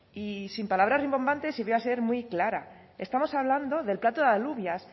y sin palabras rimbombantes y voy a ser muy clara estamos hablando del plato de alubias